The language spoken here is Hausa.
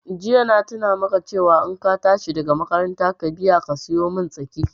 Jiya na tuna maka cewa in ka tashi daga makaranta ka biya ka siyomin tsaki